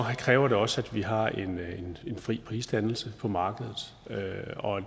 kræver det også at vi har en fri prisdannelse på markedet